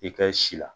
I kɛ si la